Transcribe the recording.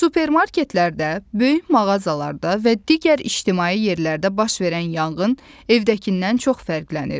Supermarketlərdə, böyük mağazalarda və digər ictimai yerlərdə baş verən yanğın evdəkindən çox fərqlənir.